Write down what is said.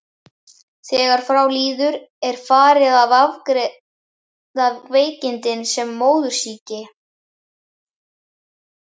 Þegar frá líður er farið að afgreiða veikindin sem móðursýki.